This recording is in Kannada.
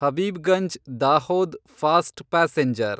Habibganj Dahod fast passenger